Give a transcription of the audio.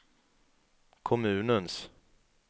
kommunens